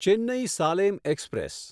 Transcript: Chennai Salem express